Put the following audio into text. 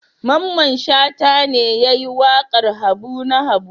Mamman Shata ne ya yi waƙar Habu na Habu.